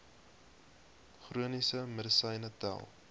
chroniese medisyne tel